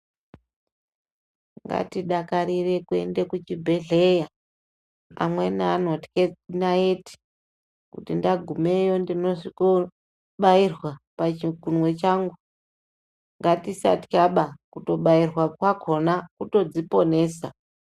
Ngatidakarire kuendepi kuchibhedhlera amweni anotye ndaiti kuti ndagumeyo ndinosvikoo batirwa pachikunwe changu ngatisatya baa kubairwa kwakona kutodziposena.